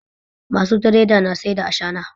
Masu tireda na sai dai ashana